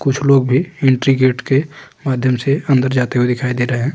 कुछ लोग भी एंट्री गेट के माध्यम से अंदर जाते हुए दिखाई दे रहे हैं।